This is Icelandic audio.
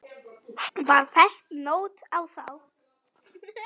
Var fest nót á þá.